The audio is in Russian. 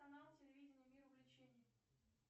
канал телевидения мир увлечений